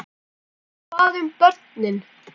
Hvað um börnin?